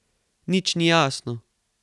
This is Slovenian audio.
Nič ni jasno.